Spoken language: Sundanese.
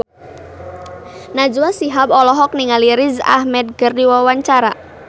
Najwa Shihab olohok ningali Riz Ahmed keur diwawancara